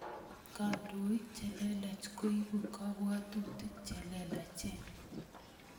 Kandoik che lelach koipu kapwotutik che lelachen.